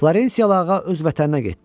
Florensiyalı ağa öz vətəninə getdi.